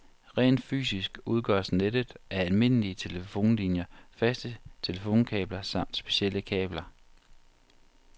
Rent fysisk udgøres nettet af almindelige telefonlinier, faste telefonkabler samt specielle kabler.